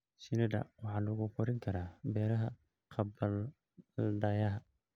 Shinnida waxaa lagu korin karaa beeraha gabbaldayaha.